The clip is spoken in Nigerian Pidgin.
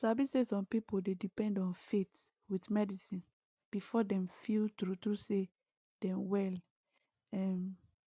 you sabi say some pipo dey depend on faith with medicine before dem feel true true say dem well um